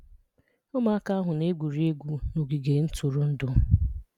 Ụmụaka ahụ na-egwuri egwu n’ogige ntụrụndụ.